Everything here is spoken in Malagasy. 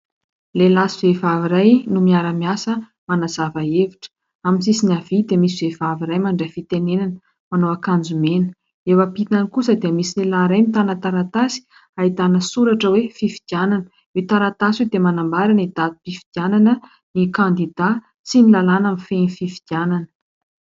Lehilahy sy vehivavy iray no miara-miasa manazava hevitra, amin'ny sisiny havia dia misy vehivavy iray mandray fitenenana manao ankanjo mena, eo ampitany kosa dia misy lehilahy iray mitana taratasy ahitana soratra hoe "fifidianana" io taratasy io dia manambara ny datim-pifidianana ny kandida sy ny lalàna mifehy ny fifidianana.